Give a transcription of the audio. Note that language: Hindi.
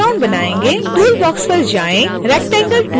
tool box पर जाएँ rectangle tool पर क्लिक करें